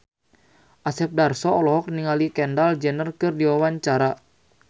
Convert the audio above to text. Asep Darso olohok ningali Kendall Jenner keur diwawancara